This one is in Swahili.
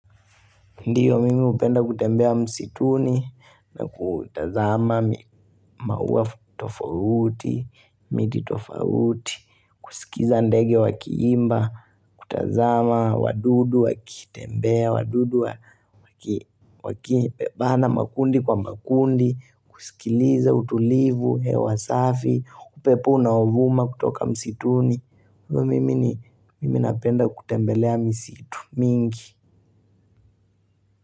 Ndiyo mimi hupenda kutembea msituni na kutazama maua tofauti, miti tofauti, kusikiza ndege wakiimba, kutazama wadudu, wakitembea, wadudu wakibebana makundi kwa makundi, kusikiliza utulivu, hewa safi, upepo unaovuma kutoka msituni. Ndiyo mimi napenda kutembelea msitu mingi.